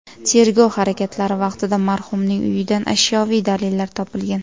Tergov harakatlari vaqtida marhumning uyidan ashyoviy dalillar topilgan.